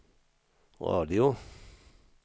radio